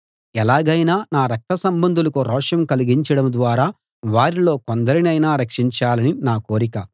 ఎలాగైనా నా రక్తసంబంధులకు రోషం కలిగించడం ద్వారా వారిలో కొందరినైనా రక్షించాలని నా కోరిక